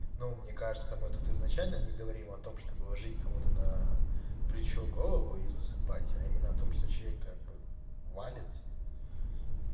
ну мне кажется мы тут изначально не говорим о том чтобы выложить кому-то на плечо голову и засыпать а именно о том что человек как бы валиться